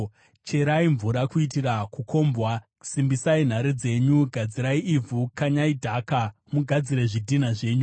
Cherai mvura kuitira kukombwa, simbisai nhare dzenyu! Gadzirai ivhu, kanyai dhaka, mugadzire zvidhina zvenyu!